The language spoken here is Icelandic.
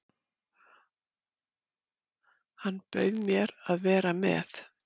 Hann bauð mér að vera með.